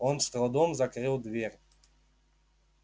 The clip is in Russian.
он с трудом закрыл дверь